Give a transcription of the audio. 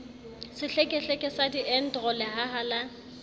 sehlekehleke sa diedro lehaha la